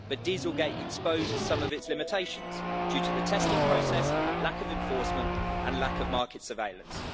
But dieselgate' exposed some of its limitations due to the testing process, lack of enforcement and lack of market surveillance.